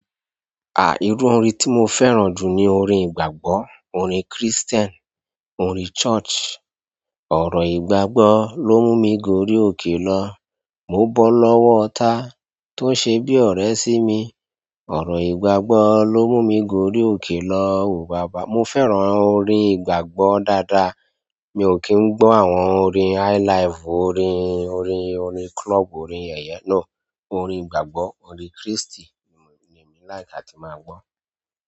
Irú orin tí mo fẹ́ràn jù ni orin ìgbàgbọ́, orin Christian, orin church. Ọ̀rọ̀ ìgbàgbọ́ ló mú mi gorí òkè lọ. Mo bọ́ lọ́wọ́ ọta tó ṣe bí ọ̀rẹ́ sí mi. Ọ̀rọ̀ ìgbàgbọ́ ló mú mi gorí òkè lọ. Mo fẹ́ràn orin ìgbàgbọ́ dáadáa. Mi ò kí ń gbọ́ àwọn orin highlife, orin, orin, orin club, orin yẹ̀yẹ. No, orin ìgbàgbọ́, orin christi ni èmi like àti máa gbọ́.